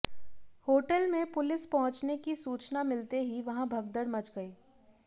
hotel में police पहुंचने की सूचना मिलते ही वहां भगदड़ मच गई